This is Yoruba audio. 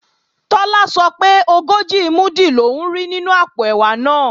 Tọ́lá sọ pé ogójì múdù lòún rí nínú àpò ẹ̀wà náà